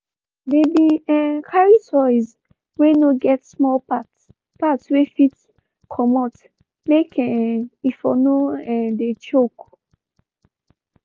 they been um carry toys wey no get small parts parts wey fit comot make um e for no um de choke.